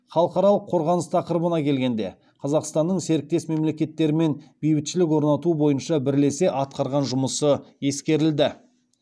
халықаралық қорғаныс тақырыбына келгенде қазақстанның серіктес мемлекеттермен бейбітшілік орнату бойынша бірлесе атқарған жұмысы ескерілді